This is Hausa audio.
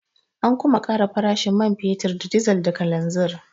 An kuma ƙara farashin man fetur da dizal da kananzir.